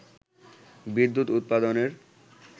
বিদ্যুৎ উৎপাদনের